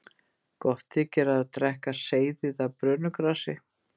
Gott þykir að drekka seyðið af brönugrasi.